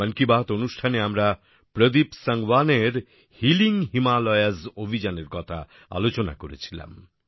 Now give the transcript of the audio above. মন কি বাত অনুষ্ঠানে আমরা প্রদীপ সাংওয়ানের হিলিং হিমালয়স অভিযানের কথা আলোচনা করেছিলাম